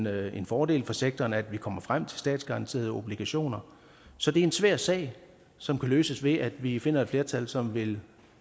er en fordel for sektoren at man kommer frem til statsgaranterede obligationer så det er en svær sag som kan løses ved at vi finder et flertal som vil